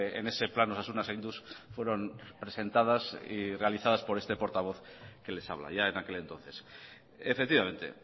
en ese plan osasuna zainduz fueron presentadas y realizadas por este portavoz que les habla ya en aquel entonces efectivamente